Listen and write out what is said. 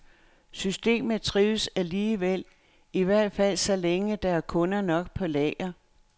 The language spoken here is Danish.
Systemet trives alligevel, i hvert fald så længe der er kunder nok på lager.